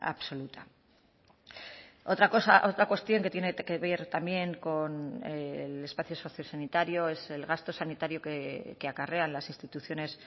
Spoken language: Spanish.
absoluta otra cosa otra cuestión que tiene que ver también con el espacio sociosanitario es el gasto sanitario que acarrean las instituciones